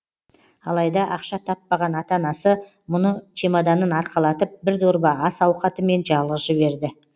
алайда ақша таппаған ата анасы мұны чемоданын арқалатып бір дорба ас ауқатымен жалғыз жіберді